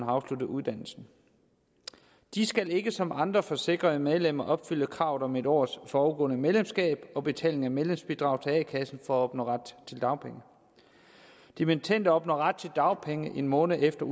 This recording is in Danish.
afsluttet uddannelsen de skal ikke som andre forsikrede medlemmer opfylde kravet om en års forudgående medlemskab og betaling af medlemsbidrag til a kassen for at opnå ret til dagpenge dimittender opnår ret til dagpenge en måned efter